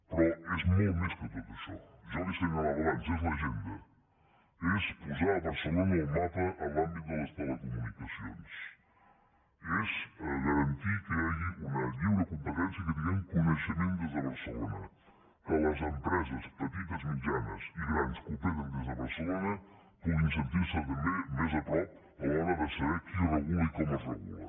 però és molt més que tot ai·xò jo li ho assenyalava abans és l’agenda és posar barcelona al mapa en l’àmbit de les telecomunicaci·ons és garantir que hi hagi una lliure competència i que tinguem coneixement des de barcelona que les empreses petites mitjanes i grans que operen des de barcelona puguin sentir·se també més a prop a l’hora de saber qui ho regula i com es regula